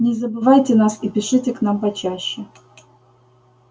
не забывайте нас и пишите к нам почаще